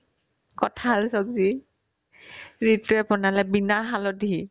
কঁঠাল ছব্জি জিতুয়ে বনালে bina হালধী